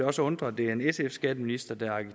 også undre at det er en sf skatteminister der er